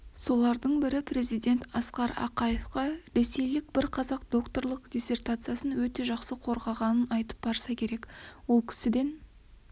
солардың бірі президент асқар ақаевқа ресейлік бір қазақ докторлық диссертациясын өте жақсы қорғағанын айтып барса керек ол кісіден